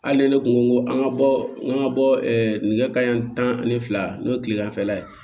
Hali ni ne kun ko ko an ka bɔ n ka bɔ nɛgɛ kanɲɛ tan ani fila n'o ye tileganfɛla ye